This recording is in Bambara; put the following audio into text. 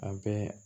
A bɛɛ